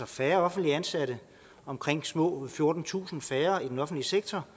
færre offentligt ansatte omkring små fjortentusind færre i den offentlige sektor